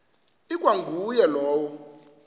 ikwa nguye lowo